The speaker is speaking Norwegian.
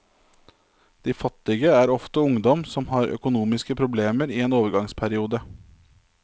De fattige er ofte ungdom som har økonomiske problemer i en overgangsperiode.